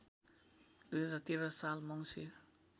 २०१३ साल मङ्सिर